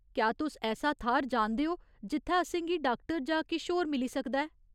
क्या तुस ऐसा थाह्‌र जानदे ओ जित्थै असेंगी डाक्टर जां किश होर मिली सकदा ऐ ?